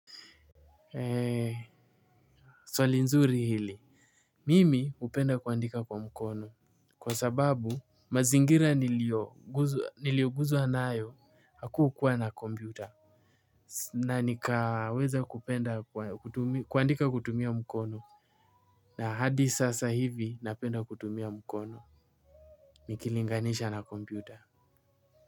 Ee swali nzuri hili. Mimi hupenda kuandika kwa mkono kwa sababu mazingira niliyokuzwa nayo, hakukuwa na kompyuta na nikaweza kupenda kuandika kutumia mkono na hadi sasa hivi napenda kutumia mkono nikilinganisha na kompyuta.